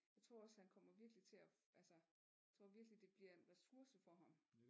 Jeg tror også han kommer virkelig til at altså jeg tror virkelig det bliver en ressource for ham